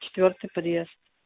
четвёртый подъезд